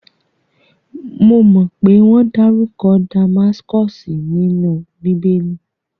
Mo mọ pé wọ́n dárúkọ Damaskosi nínú bíbé!lì